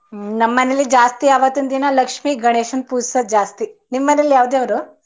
ನಮ್ಮನೇಲಿ ಜಾಸ್ತಿ ಅವತನ ದಿನ ಲಕ್ಷ್ಮಿ ಗಣೇಶನ ಪೊಜ್ಸದ್ ಜಾಸ್ತಿ. ನಿಮ್ಮನೇಲಿ ಯಾವ್ ದೇವ್ರು?